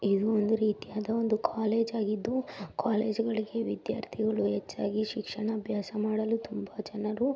ಇದು ಒಂದು ರೀತಿಯಾದ ಒಂದು ಕಾಲೇಜು ಆಗಿದ್ದು ಕಾಲೇಜು ಗಳಿಗೆ ವಿದ್ಯಾರ್ಥಿಗಳು ಹೆಚ್ಚಾಗಿ ಶಿಕ್ಷಣಾಭ್ಯಾಸ ಮಾಡಲು ತುಂಬಾ ಜನರು --